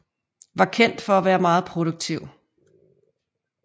Var kendt for at være meget produktiv